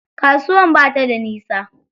Kasuwar ba ta da nisa.